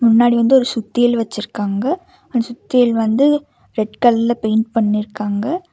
முன்னாடி வந்து ஒரு சுத்தியல் வச்சிருக்காங்க அந்த சுத்தியல் வந்து ரெட் கலர்ல பெயிண்ட் பண்ணிருக்காங்க.